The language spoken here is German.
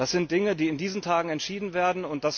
Das sind Dinge, die in diesen Tagen entschieden werden.